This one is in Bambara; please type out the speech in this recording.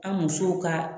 An musow ka